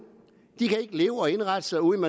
kan ikke leve og indrette sig uden